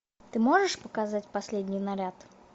ты можешь показать последний наряд